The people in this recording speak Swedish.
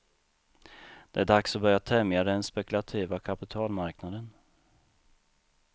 Det är dags att börja tämja den spekulativa kapitalmarknaden.